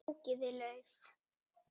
Fjúkiði lauf.